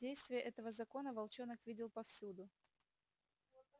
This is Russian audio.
действие этого закона волчонок видел повсюду